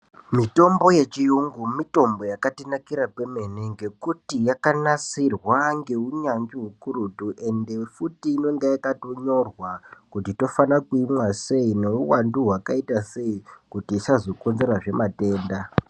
Mitombo yechiyungu mitombo yakatinakira kwemene ngekuti yakanasirwa ngeunyanzvi ukurutu ende futi inenge yakatonyorwa kuti tofanira kuimwa sei neuwandu hwakaita sei kuti isazokonzerazve matenda.